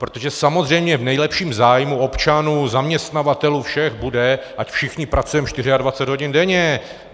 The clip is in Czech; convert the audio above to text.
Protože samozřejmě v nejlepším zájmu občanů, zaměstnavatelů, všech bude, ať všichni pracujeme 24 hodin denně.